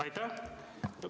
Aitäh!